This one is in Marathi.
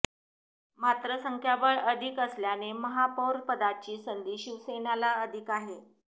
मात्र संख्याबळ अधिक असल्याने महापौरपदाची संधी शिवसेनेला अधिक आहे